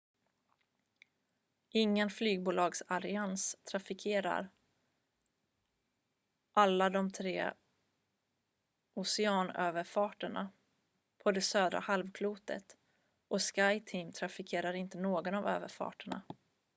ingen flygbolagsallians trafikerar alla de tre oceanöverfarterna på det södra halvklotet och skyteam trafikerar inte någon av överfarterna